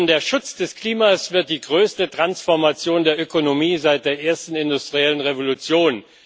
Der Schutz des Klimas wird die größte Transformation der Ökonomie seit der ersten industriellen Revolution.